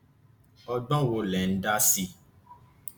ọgbọn wo lẹ ń dá sí i